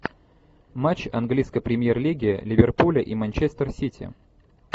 матч английской премьер лиги ливерпуля и манчестер сити